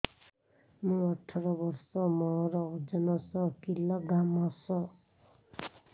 ମୁଁ ଅଠର ବର୍ଷ ମୋର ଓଜନ ଶହ କିଲୋଗ୍ରାମସ